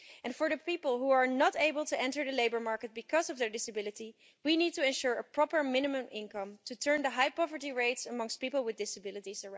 For people who are not able to enter the labour market because of their disability, we need to ensure a proper minimum income in order to turn around the high poverty rates amongst people with disabilities.